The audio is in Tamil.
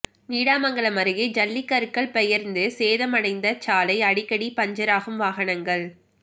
நீடாமங்கலம் அருகே ஜல்லிக்கற்கள் பெயர்ந்து சேதமடைந்த சாலை அடிக்கடி பஞ்சராகும் வாகனங்கள்